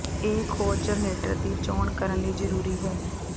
ਇਹ ਖੋਜ ਜਰਨੇਟਰ ਦੀ ਚੋਣ ਕਰਨ ਲਈ ਜ਼ਰੂਰੀ ਹੈ